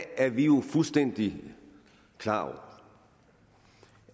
er vi jo fuldstændig klar over